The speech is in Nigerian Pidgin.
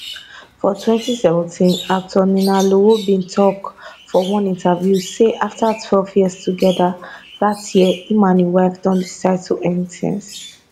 for 2017 actor ninalowo bin tok for one interview say afta12 years togeda dat year e and im wife don decide to end tins